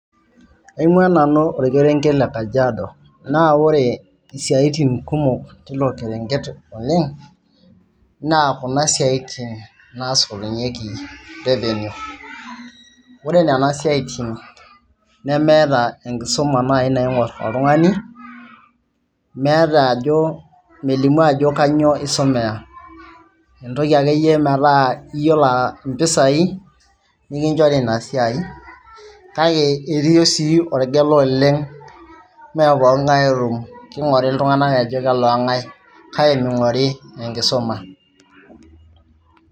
Aingua nanu orkerenke le Kajiado na ore siatin kumok tilo kerenket oleng naa kuna siatin nasotunyeki revenue, ore nona siatin nemeeta enkisuma nai naingor oltungani neeta ajo melimu ajo kanyio isomea ,entoki akeyie metaa iyolo a mpisai nikinchori inasiai kake itum sii orgela oleng meepokingae otumore ltunganak ajo kalongae kake meingori enkisuma .